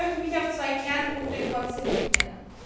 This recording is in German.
Ich möchte mich auf zwei Kernpunkte konzentrieren.